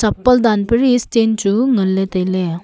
danpari stand chu nganley tailey.